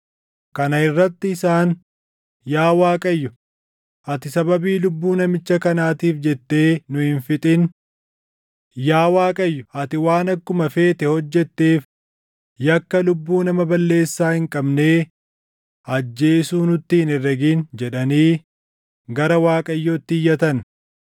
Kana irratti isaan, “Yaa Waaqayyo, ati sababii lubbuu namicha kanaatiif jettee nu hin fixin. Yaa Waaqayyo ati waan akkuma feete hojjetteef yakka lubbuu nama balleessaa hin qabnee ajjeesuu nutti hin herregin” jedhanii gara Waaqayyootti iyyatan.